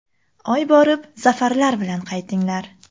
Oy borib, zafarlar bilan qaytinglar!